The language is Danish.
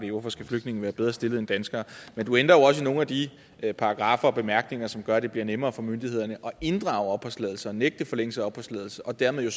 hvorfor skal flygtninge være bedre stillet end danskere men du ændrer jo også i nogle af de paragraffer og bemærkninger som gør at det bliver nemmere for myndighederne at inddrage opholdstilladelser nægte forlængelse af opholdstilladelser og dermed